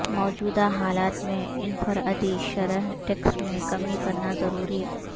موجودہ حالات میں انفر ادی شرح ٹیکس میں کمی کرنا ضروری